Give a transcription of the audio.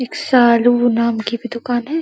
एक शालू नाम की भी दूकान है।